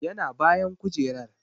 Yana bayan kujerar.